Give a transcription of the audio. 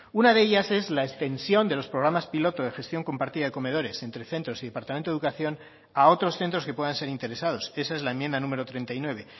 una de ellas es la extensión de los programas piloto de gestión compartida de comedores entre centros y departamento de educación a otros centros que puedan ser interesados esa es la enmienda número treinta y nueve